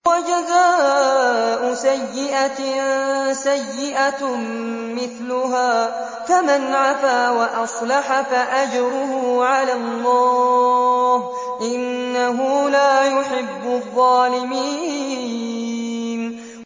وَجَزَاءُ سَيِّئَةٍ سَيِّئَةٌ مِّثْلُهَا ۖ فَمَنْ عَفَا وَأَصْلَحَ فَأَجْرُهُ عَلَى اللَّهِ ۚ إِنَّهُ لَا يُحِبُّ الظَّالِمِينَ